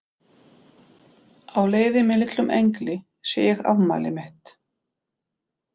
Á leiði með litlum engli sé ég afmælið mitt.